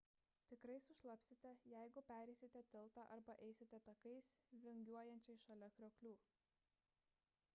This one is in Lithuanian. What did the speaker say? tikrai sušlapsite jeigu pereisite tiltą arba eisite takais vingiuojančiais šalia krioklių